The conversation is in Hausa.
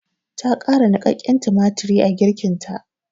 Ta ƙara niƙaƙƙen tumatiri a girkinta.